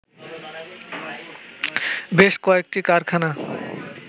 বেশ কয়েকটি কারখানা